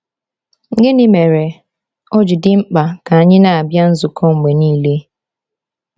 Gịnị mere ọ ji dị mkpa ka anyị na-abịa nzukọ mgbe niile?